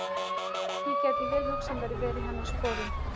Ég gæti vel hugsað mér að vera í hennar sporum.